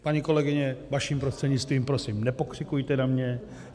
Paní kolegyně, vaším prostřednictvím , prosím, nepokřikujte na mě.